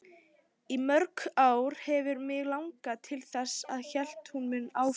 Í mörg ár hefur mig langað til þess, hélt hún áfram.